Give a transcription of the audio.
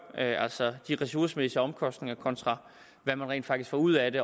altså de ressourcemæssige omkostninger kontra hvad man rent faktisk får ud af det